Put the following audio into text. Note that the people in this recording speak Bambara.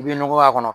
I bɛ nɔgɔ k'a kɔnɔ